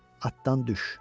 atdan düş.